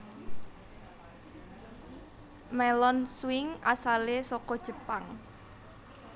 Melon swing asale saka Jepang